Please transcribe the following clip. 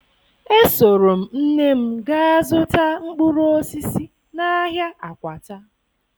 Esoro m nne m gaa zụta mkpụrụ osisi n'ahịa Akwata